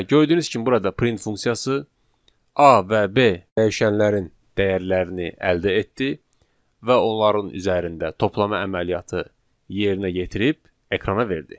Və gördüyünüz kimi burada print funksiyası A və B dəyişənlərin dəyərlərini əldə etdi və onların üzərində toplama əməliyyatı yerinə yetirib ekrana verdi.